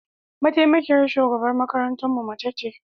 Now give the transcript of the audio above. Mataimakiyar shugaban makarantarmu mace ce.